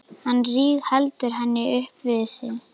Hann rígheldur henni upp við sig.